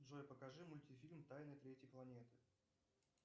джой покажи мультфильм тайна третьей планеты